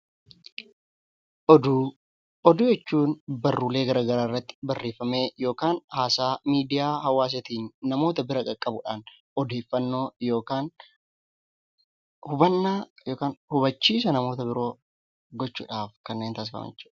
Oduu jechuun barruulee garaa garaa irratti barreeffamee yookaan haasaa miidiyaa hawaasaatiin namoota bira qaqqabudhaan odeeffannoo yookaan hubannaa yookaan hubachiisa namoota biroo gochuudhaaf kanneen taasifaman jechuudha.